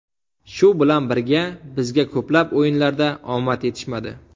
Shu bilan birga bizga ko‘plab o‘yinlarda omad yetishmadi.